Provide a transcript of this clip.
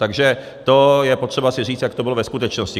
Takže to je potřeba si říct, jak to bylo ve skutečnosti.